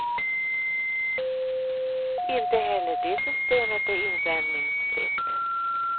Inte heller det systemet är invändningsfritt.